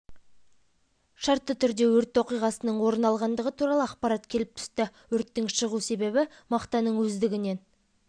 жануынан болған одан соң күш-құралдар жұмылдырылып өрт сөндіру штабы ұйымдастырылды шығыс кестесіне сәйкес өрт поезды